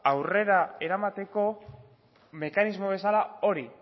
aurrera eramateko mekanismo bezala hori